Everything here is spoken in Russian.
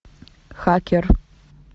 хакер